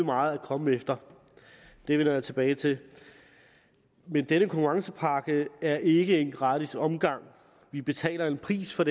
meget at komme efter det vender jeg tilbage til denne konkurrencepakke er dog ikke en gratis omgang vi betaler en pris for